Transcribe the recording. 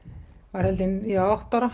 var held ég átta ára